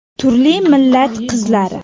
Turli millat qizlari!